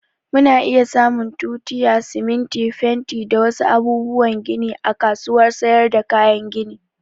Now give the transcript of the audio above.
Mu na iya samun tutiya, siminti, fenti da wa su abubuwan gini a kasuwar sayar da kayan gini